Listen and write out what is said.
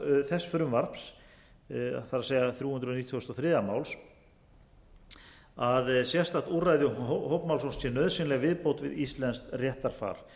þess frumvarps það er þrjú hundruð nítugasta og þriðja máls að sérstakt úrræði um hópmálsókn sé nauðsynleg viðbót við íslenskt réttarfar